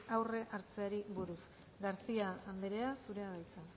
aurre hartzeari buruz garcía andrea zurea da hitza